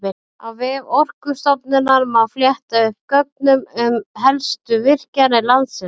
Á vef Orkustofnunar má fletta upp gögnum um helstu virkjanir landsins.